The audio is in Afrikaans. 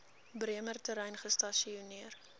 bremer terrein gestasioneer